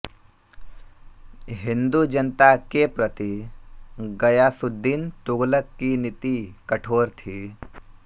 हिन्दू जनता के प्रति ग़यासुद्दीन तुग़लक़ की नीति कठोर थी